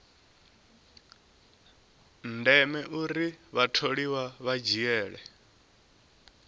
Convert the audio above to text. ndeme uri vhatholiwa vha dzhiele